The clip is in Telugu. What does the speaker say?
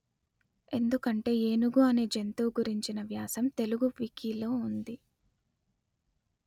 ఎందుకంటే ఏనుగు అనే జంతువు గురించిన వ్యాసం తెలుగు వికీలో ఉంది